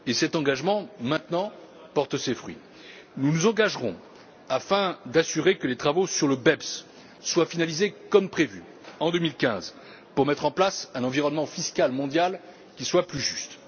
Cet engagement porte maintenant ses fruits. Nous nous engagerons afin d'assurer que les travaux sur le BEPS soient finalisés comme prévu, en 2015, pour mettre en place un environnement fiscal mondial plus juste.